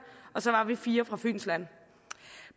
og så var vi fire fra fyns land